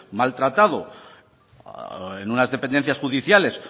maltratado en unas dependencias judiciales